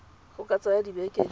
go ka tsaya dibeke di